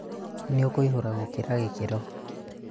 nĩũkũihũra gũkĩra gĩkĩro